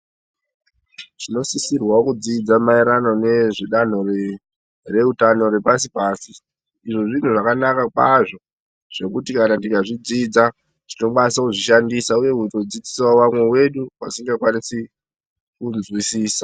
Chinosisirwa kudzidza maererano nezvedanho reutano repasi pasi , izvi zvinhu zvakanaka kwazvo zvokuti kana tikazvidzidza tinokwanisa kuzvishandisa uye kuzodzidzisawo vamwe vedu vasingakwanisi kunzwisisa .